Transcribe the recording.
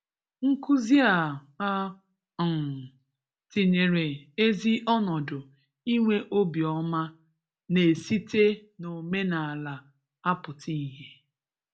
Nkuzi a a um tinyere ezi ọnọdụ inwe obi ọma na-esite n'omenala apụta ihe.